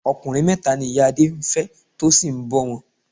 Ọkùnrin mẹ́ta ni ìyá Adé ń fẹ́ tó sì ń bọ wọn.